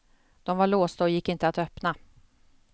De var låsta och gick inte att öppna.